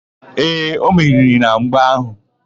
Ee, o meriri na mgba áhụ̀.